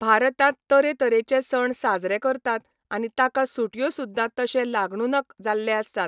भारतांत तरेतरेचे सण साजरे करतात आनी ताका सुट्यो सुद्दा तशे लागणूनक जाल्ले आसतात.